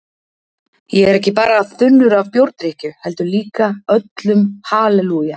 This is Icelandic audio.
Ég er ekki bara þunnur af bjórdrykkju heldur líka öllum halelúja